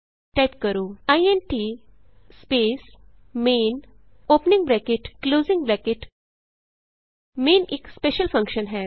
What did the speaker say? type ਕਰੋ int space main opening bracket closing bracket main ਇਕ special function ਹੈ